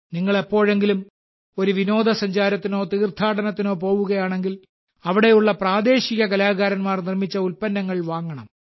നിങ്ങൾ എപ്പോഴെങ്കിലും ഒരു വിനോദസഞ്ചാരത്തിനോ തീർത്ഥാടനത്തിനോ പോകുകയാണെങ്കിൽ അവിടെയുള്ള പ്രാദേശിക കലാകാരന്മാർ നിർമ്മിച്ച ഉൽപ്പന്നങ്ങൾ വാങ്ങണം